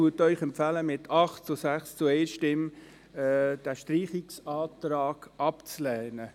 Die GSoK-Mehrheit empfiehlt Ihnen mit 8 Ja-Stimmen gegen 6 Nein-Stimmen bei 1 Enthaltung, den Streichungsantrag abzulehnen.